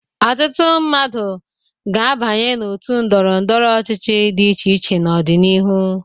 Ọtụtụ mmadụ ga-abanye òtù ndọrọ ndọrọ ọchịchị dị iche iche n'ọdịnihu.